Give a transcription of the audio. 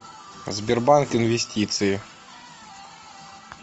сбербанк инвестиции